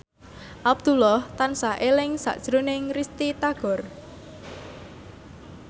Abdullah tansah eling sakjroning Risty Tagor